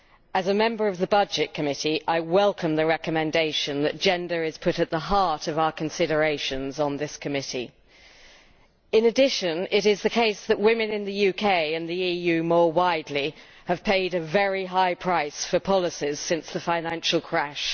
As a member of the Committee on Budgets I welcome the recommendation that gender be put at the heart of our considerations on this committee. In addition, it is the case that women in the UK and the EU more widely have paid a very high price for policies since the financial crash.